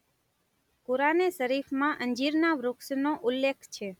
કુરાન-એ-શરીફમાં અંજીરના વૃક્ષનો ઉલ્લેખ છે.